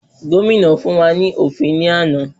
Gómìnà fún wa ní òfin ní àná.